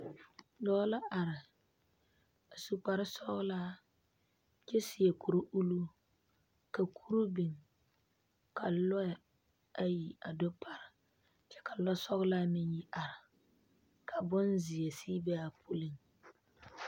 Dɔɔ la are a su kparre sɔgelaa kyɛ seɛ kuri uluu ka kuri biŋ ka lɔɛ ayi a do pare kyɛ ka lɛ sɔgelaa meŋ yi are ka bonzsɛ sege be a puliŋ